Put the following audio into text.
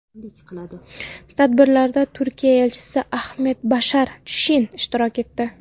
Tadbirlarda Turkiya elchisi Ahmet Bashar Sheen ishtirok etdi.